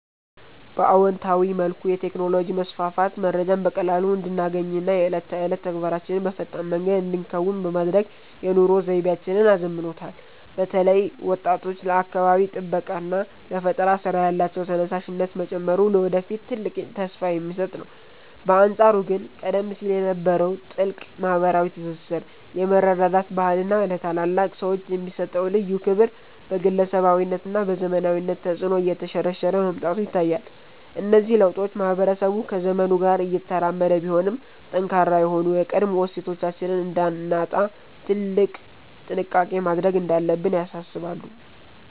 በአዎንታዊ መልኩ፣ የቴክኖሎጂ መስፋፋት መረጃን በቀላሉ እንድናገኝና የዕለት ተዕለት ተግባራችንን በፈጣን መንገድ እንድንከውን በማድረግ የኑሮ ዘይቤያችንን አዘምኖታል። በተለይ ወጣቶች ለአካባቢ ጥበቃና ለፈጠራ ሥራ ያላቸው ተነሳሽነት መጨመሩ ለወደፊት ትልቅ ተስፋ የሚሰጥ ነው። በአንጻሩ ግን ቀደም ሲል የነበረው ጥልቅ ማኅበራዊ ትስስር፣ የመረዳዳት ባህልና ለታላላቅ ሰዎች የሚሰጠው ልዩ ክብር በግለሰባዊነትና በዘመናዊነት ተጽዕኖ እየተሸረሸረ መምጣቱ ይታያል። እነዚህ ለውጦች ማኅበረሰቡ ከዘመኑ ጋር እየተራመደ ቢሆንም፣ ጠንካራ የሆኑ የቀድሞ እሴቶቻችንን እንዳናጣ ትልቅ ጥንቃቄ ማድረግ እንዳለብን ያሳስባሉ።